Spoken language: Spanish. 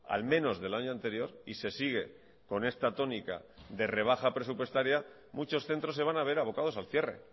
al menos del año anterior y se sigue con esta tónica de rebaja presupuestaria muchos centros se van a ver abocados al cierre